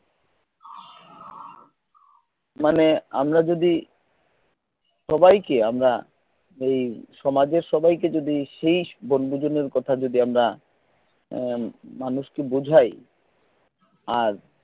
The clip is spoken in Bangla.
মানে আমরা যদি সবাইকে আমরা ঐ সমাজের সবাইকে যদি সেই বন্ধুদের কথা যদি আমরা মানুষকে বোঝায় আর